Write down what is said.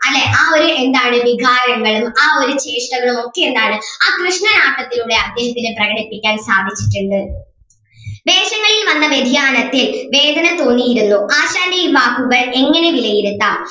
അല്ലേ ആ ഒരു എന്താണ് വികാരങ്ങൾ ആ ഒരു ചേഷ്ടകളും ഒക്കെ എന്താണ് ആ കൃഷ്ണനാട്ടത്തിലൂടെ അദ്ദേഹത്തിന് പ്രകടിപ്പിക്കാൻ സാധിച്ചിട്ടുണ്ട് വേഷങ്ങളിൽ വന്ന വ്യതിയാനത്തെ വേദന തോന്നിയിരുന്നു ആശാന്റെ ഈ വാക്കുകൾ എങ്ങനെ വിലയിരുത്താം